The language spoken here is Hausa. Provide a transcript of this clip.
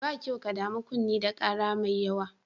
Ba kyau ka damu kunne da ƙara mai yawa.